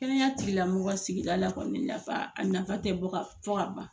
Kɛnɛya tigila mɔgɔ sigi la kɔni nafa, a nafa tɛ fɔ ka ban